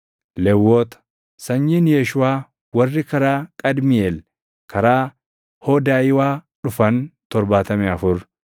Lewwota: Sanyiin Yeeshuuʼaa warri karaa Qadmiiʼeel, karaa Hoodayiwaa dhufan 74.